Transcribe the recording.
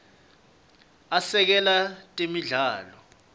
asekela netemidlalo